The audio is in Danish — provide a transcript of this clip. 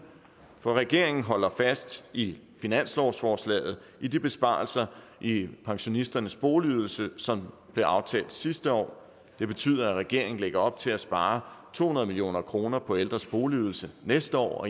for regeringen holder fast i finanslovsforslaget i de besparelser i pensionisternes boligydelse som blev aftalt sidste år det betyder at regeringen lægger op til at spare to hundrede million kroner på ældres boligydelse næste år